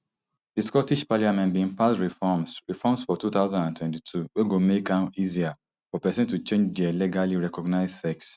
di scottish parliament bin pass reforms reforms for two thousand and twenty-two wey go make am easier for pesin to change dia legally recognised sex